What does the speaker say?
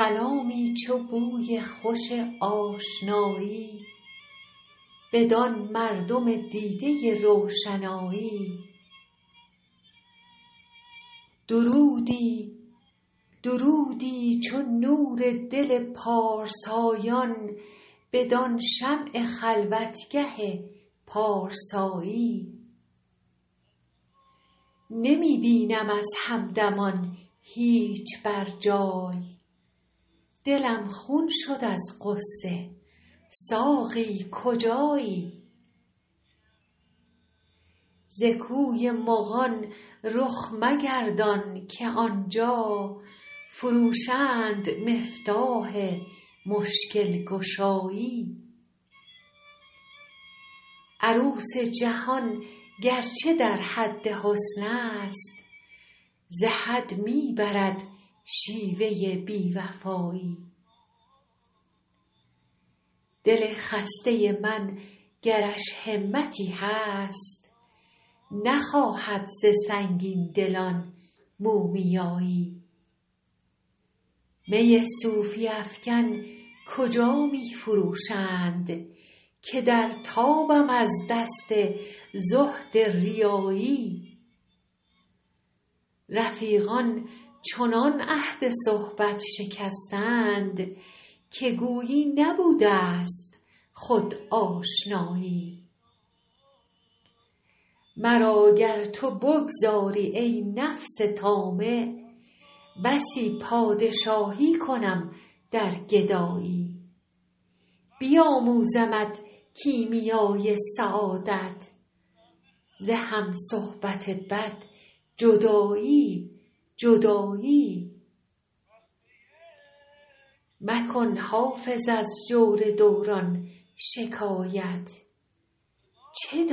سلامی چو بوی خوش آشنایی بدان مردم دیده روشنایی درودی چو نور دل پارسایان بدان شمع خلوتگه پارسایی نمی بینم از همدمان هیچ بر جای دلم خون شد از غصه ساقی کجایی ز کوی مغان رخ مگردان که آن جا فروشند مفتاح مشکل گشایی عروس جهان گر چه در حد حسن است ز حد می برد شیوه بی وفایی دل خسته من گرش همتی هست نخواهد ز سنگین دلان مومیایی می صوفی افکن کجا می فروشند که در تابم از دست زهد ریایی رفیقان چنان عهد صحبت شکستند که گویی نبوده ست خود آشنایی مرا گر تو بگذاری, ای نفس طامع بسی پادشایی کنم در گدایی بیاموزمت کیمیای سعادت ز هم صحبت بد جدایی جدایی مکن حافظ از جور دوران شکایت چه